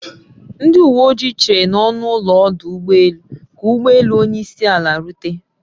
Ndi uwe ojii chere n'ọnụ ụlọ ọdụ ụgbọ elu ka ụgbọ elu onyeisiala rute